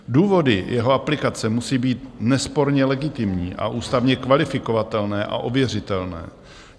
Důvody jeho aplikace musí být nesporně legitimní a ústavně kvalifikovatelné a ověřitelné.